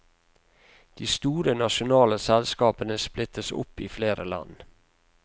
De store nasjonale selskapene splittes opp i flere land.